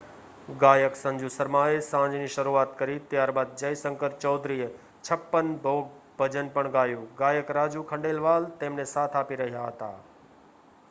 ગાયક સંજુ શર્માએ સાંજની શરૂઆત કરી ત્યારબાદ જયશંકર ચૌધરીએ છપ્પન ભોગ ભજન પણ ગાયું ગાયક રાજુ ખંડેલવાલ તેમને સાથ આપી રહ્યા હતા